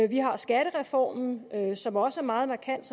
vi har skattereformen som også er meget markant